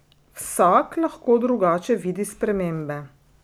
Vsak lahko drugače vidi spremembe.